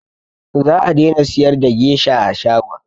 Za a daina siyar da gesha a shagon